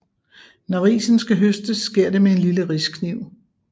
Når risen skal høstes sker det med en lille riskniv